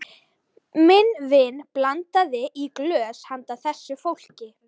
Minn vin blandaði í glös handa þessu fólki.